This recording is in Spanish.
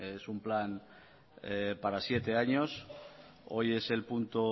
es un plan para siete años hoy es el punto